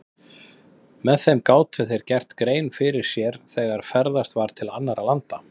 Með þeim gátu þeir gert grein fyrir sér þegar ferðast var til annarra landa.